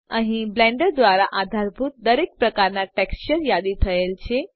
અહીં બ્લેન્ડર દ્વારા આધારભૂત દરેક પ્રકારના ટેક્સચર યાદી થયેલ છે